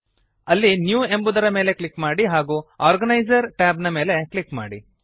ಅಲ್ಲಿ ನ್ಯೂ ಎಂಬುದರ ಮೇಲೆ ಕ್ಲಿಕ್ ಮಾಡಿ ಹಾಗೂ ಆರ್ಗನೈಸರ್ ಟ್ಯಾಬ್ ನ ಮೇಲೆ ಕ್ಲಿಕ್ ಮಾಡಿ